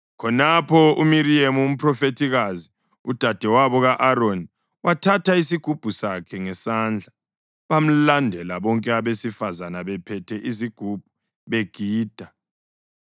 Khonapho uMiriyemu umphrofethikazi, udadewabo ka-Aroni, wathatha isigubhu sakhe ngesandla, bamlandela bonke abesifazane bephethe izigubhu begida.